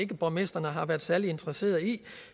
borgmestrene har været særlig interesserede i